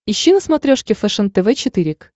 ищи на смотрешке фэшен тв четыре к